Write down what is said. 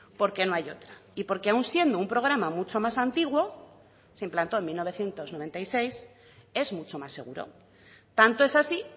porque no hay otra y porque aun siendo un programa mucho más antiguo se implantó en mil novecientos noventa y seis es mucho más seguro tanto es así